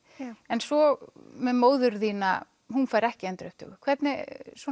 en svo með móður þína hún fær ekki endurupptöku hvernig